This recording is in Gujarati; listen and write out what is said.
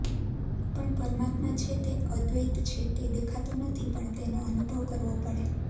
પણ પરમાત્મા છે તે અદ્વૈત છે તે દેખાતો નથી પણ તેનો અનુભવ કરવો પડે